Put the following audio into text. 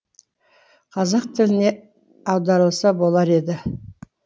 қазақ тіліне аударылса болар еді